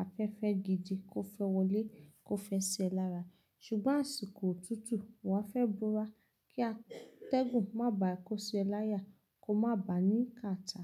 a fẹ́ fẹ́ gidi kó fẹ́ wọlé kó fẹ́ ṣẹ lára. Ṣùgbọ́n àsìkò òtútù, wà á fẹ́ búra kí a tẹ́gùn má bà á kó ṣẹ láya kó má bà á ní káta.